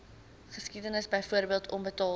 geskiedenis byvoorbeeld onbetaalde